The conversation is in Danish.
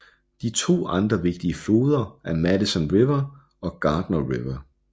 De to andre vigtige floder er Madison River og Gardner River